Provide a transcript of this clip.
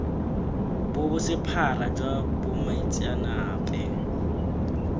bo bo sephara jwa bomaitseanape